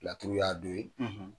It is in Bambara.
Laturu y'a dɔ ye.